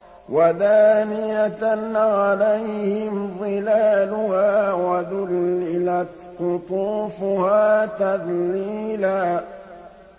وَدَانِيَةً عَلَيْهِمْ ظِلَالُهَا وَذُلِّلَتْ قُطُوفُهَا تَذْلِيلًا